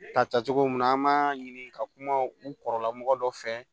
Ka tacogo mun na an b'a ɲini ka kuma u kɔrɔla mɔgɔ dɔ fɛ